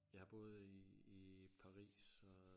Jeg har boet i i Paris og